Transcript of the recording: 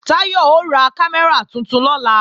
Táyọ̀ ó ra kámẹ́rà tuntun lọ́la